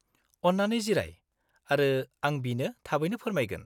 -अन्नानै जिराय, आरो आं बिनो थाबैनो फोरमायगोन।